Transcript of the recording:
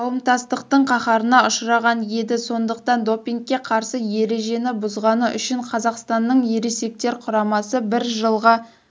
қауымтастықтың қаһарына ұшыраған еді сондықтан допингке қарсы ережені бұзғаны үшін қазақстанның ересектер құрамасы бір жылға